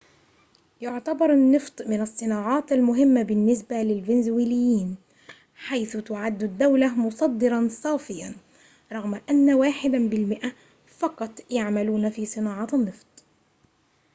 يعتبر النّفط من الصّناعات المهمّة بالنسبة للفنزويليين حيث تعدّ الدّولة مصدّراً صافياً رغم أنّ واحد بالمئة فقط يعملون في صناعة النّفط